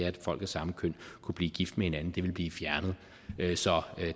at folk af samme køn kunne blive gift med hinanden ville blive fjernet så